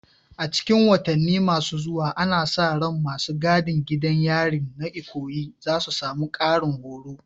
A cikin watanni masu zuwa, ana sa ran masu gadin gidan yarin na Ikoyi za su samu ƙarin horo.